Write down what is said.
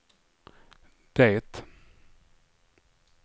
det